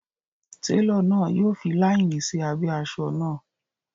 Télọ̀ náà yọ fi láínì sí abẹ́ asọ náà